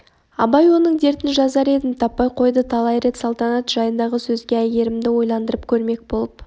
абай оның дертін жазар едім таппай қойды талай рет салтанат жайындағы сөзге әйгерімді ойландырып көрмек болып